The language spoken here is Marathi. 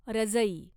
रजई